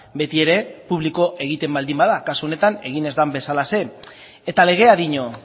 beti ere publiko egiten baldin bada kasu honetan egin ez den bezalaxe eta legea dio